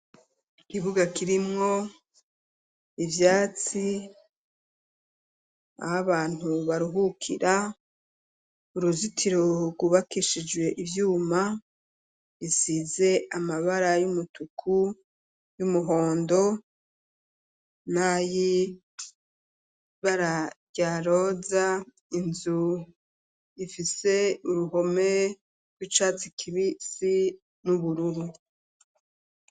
Ikibuga kirimwo ibyatsi abantu baruhukira uruzitiro rwubakishijwe ibyuma bisize amabara y'umutuku y'umuhondo nayibara ryaroza inzu ifise uruhome rw'icatsi kibisi n'ubururu.